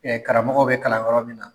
karamɔgɔ bɛ kalan yɔrɔ min na